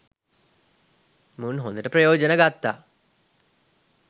මුන් හොඳට ප්‍රයෝජන ගත්තා.